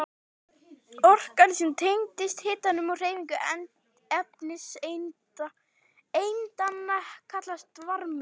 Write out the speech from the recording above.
Orkan sem tengist hitanum og hreyfingu efniseindanna kallast varmi.